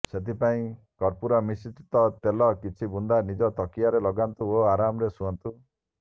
ସେଥିପାଇଁ କର୍ପୂର ମିଶ୍ରିତ ତେଲର କିଛି ବୁନ୍ଦା ନିଜ ତକିଆରେ ଲଗାନ୍ତୁ ଓ ଆରାମରେ ଶୁଅନ୍ତୁ